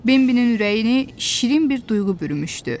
Bembinin ürəyini şirin bir duyğu bürümüşdü.